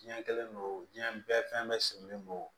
Diɲɛ kɛlen don diɲɛ bɛɛ fɛn bɛɛ sirilen don